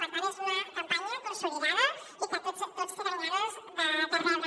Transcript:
per tant és una campanya consolidada i que tots tenen ganes de rebre la